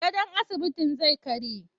Gadon asibitin zai karye.